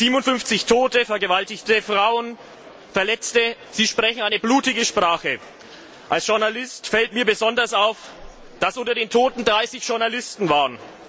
57 Tote, vergewaltigte Frauen, Verletzte sie sprechen eine blutige Sprache. Als Journalist fällt mir besonders auf, dass unter den Toten 30 Journalisten waren.